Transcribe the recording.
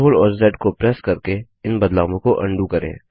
CTRL और Z को press करके इन बदलावों को अन्डू करें